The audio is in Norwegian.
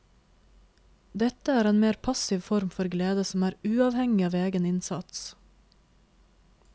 Dette er en mer passiv form for glede som er uavhengig av egen innsats.